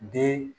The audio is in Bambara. Den